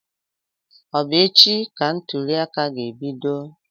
Ọ bụ echi ka ntụliaka ga ebido?